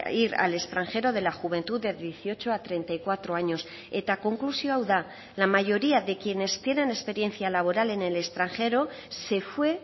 ir al extranjero de la juventud de dieciocho a treinta y cuatro años eta konklusioa hau da la mayoría de quienes tienen experiencia laboral en el extranjero se fue